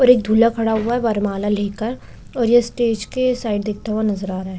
और एक दूल्हा खड़ा हुआ है वरमाला लेकर और ये स्टेज के साइड देखता हुआ नज़र आ रहा है।